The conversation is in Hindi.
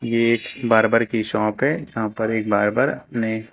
ये एक बार्बर की शॉप है यहां पर एक बार्बर ने --